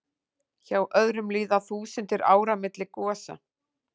Hjá öðrum líða þúsundir ára milli gosa.